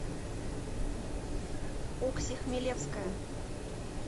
окси хмелевская